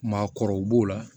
Maakɔrɔw b'o la